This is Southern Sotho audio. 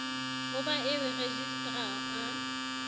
ho ba eo rejistra a